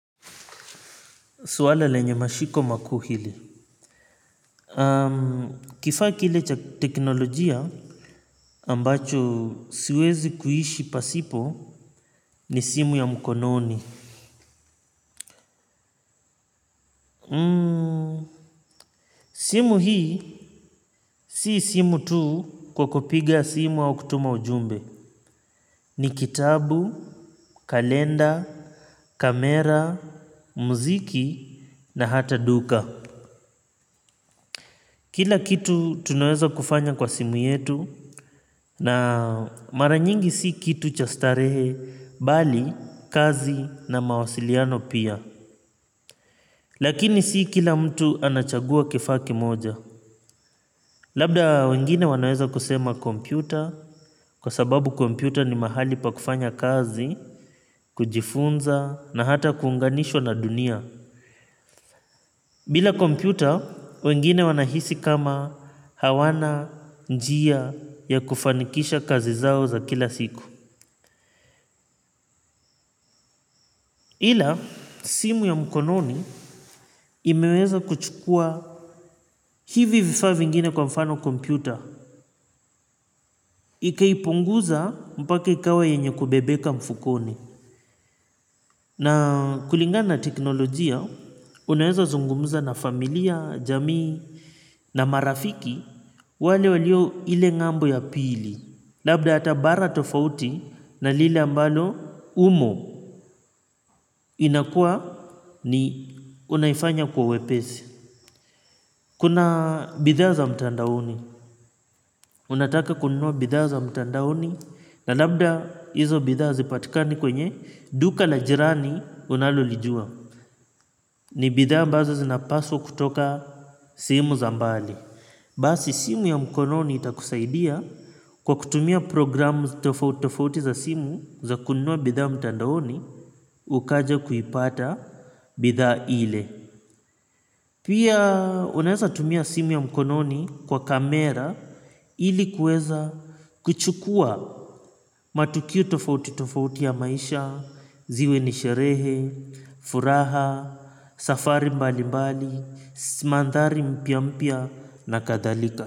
Swala lenye mashiko makuu hili. Kifaa kile cha teknolojia ambacho siwezi kuishi pasipo ni simu ya mkononi. Simu hii si simu tu kwa kupiga simu au kutuma ujumbe. Ni kitabu, kalenda, kamera, muziki na hata duka. Kila kitu tunaweza kufanya kwa simu yetu. Na maranyingi si kitu cha starehe bali kazi na mawasiliano pia. Lakini si kila mtu anachagua kifaa kimoja. Labda wengine wanaweza kusema kompyuta kwa sababu kompyuta ni mahali pa kufanya kazi. Kujifunza na hata kuunganishwa na dunia bila kompyuta wengine wanahisi kama hawana njia ya kufanikisha kazi zao za kila siku ila simu ya mkononi imeweza kuchukua hivi vifaa vingine kwa mfano kompyuta. Ikaipunguza mpake ikawa yenye kubebeka mfukoni. Na kulingana na teknolojia, unaweza zungumuza na familia, jamii na marafiki wale walio ile ngambo ya pili. Labda hata bara tofauti na lile ambalo umo inakua ni unaifanya kwa uwepesi. Kuna bidhaa za mtandaoni. Unataka kununua bidhaa za mtandaoni na labda hizo bidhaa hazipatikani kwenye duka la jirani unalolijua. Ni bidhaa ambazo zinapaswa kutoka simu za mbali. Basi simu ya mkononi itakusaidia kwa kutumia programu tofauti tofauti za simu za kununua bidhaa mtandaoni ukaja kuipata bidhaa ile. Pia unaeza tumia simu ya mkononi kwa kamera ilikuweza kuchukua matukio tofauti tofauti ya maisha, ziwe ni sherehe, furaha, safari mbali mbali, mandhari mpyampya na kadhalika.